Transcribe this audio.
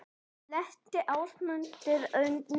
Lenti Ásmundur undir Valtaranum?